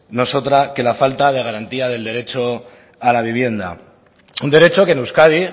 no es otra que la falta de garantía del derecho a la vivienda un derecho que en euskadi